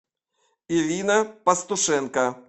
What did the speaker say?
ирина пастушенко